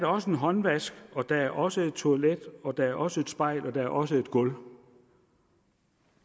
også en håndvask og der er også et toilet og der er også et spejl og der er også et gulv